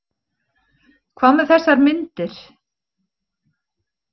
Hvað með þessar myndir?